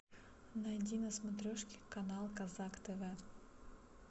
найди на смотрешке канал казак тв